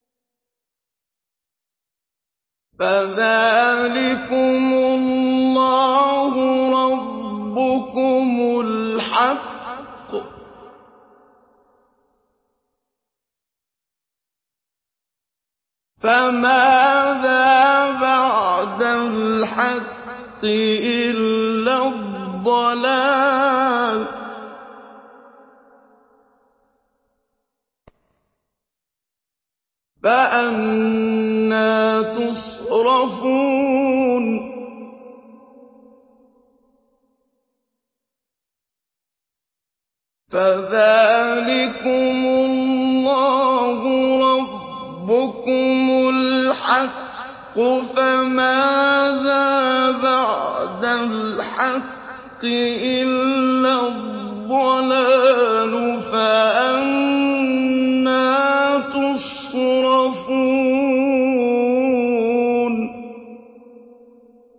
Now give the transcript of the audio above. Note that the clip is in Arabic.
فَذَٰلِكُمُ اللَّهُ رَبُّكُمُ الْحَقُّ ۖ فَمَاذَا بَعْدَ الْحَقِّ إِلَّا الضَّلَالُ ۖ فَأَنَّىٰ تُصْرَفُونَ